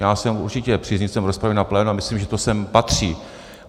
Já jsem určitě příznivcem rozpravy na plénu a myslím, že to sem patří.